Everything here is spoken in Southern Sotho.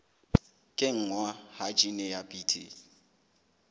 kenngwa ha jine ya bt